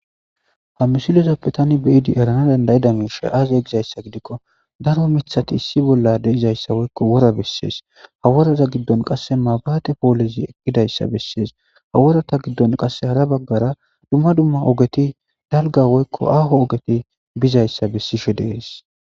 Ha misilezoppe tani beyidi erana dandayida miisha aaze gizayssa gidikko daro mithati issi bolla deizayssa woyiko wora bessees haworaza giddon qasse maabaate poolizi ekkidayssa bessees haworata giddon qass hara baggara dumma dumma ogeti dalga woykko aaho ogeti bizayssa bessishe dees